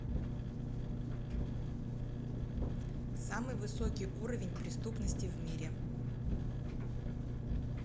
самый высокий уровень преступности в мире